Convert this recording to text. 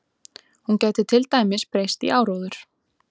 Hún gæti til dæmis breyst í áróður.